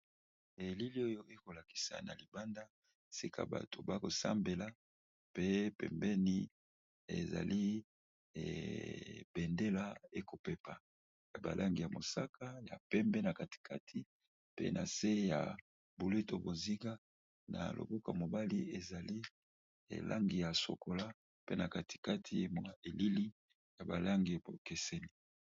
elili oyo ekolakisa na libanda sika bato bakosambela pe pembeni ezali ebendela ekopepa ya balangi ya mosaka ya pembe na katikati pe na se ya buleto boziga na loboka mobali ezali elangi ya sokola pe na katikati emwa elili ya balangi bokeseni